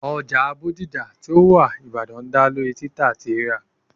oja bodija ti o wa ibadan da lori tita ati rira